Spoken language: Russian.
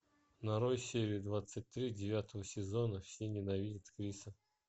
нарой серию двадцать три девятого сезона все ненавидят криса